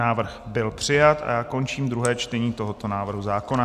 Návrh byl přijat a já končím druhé čtení tohoto návrhu zákona.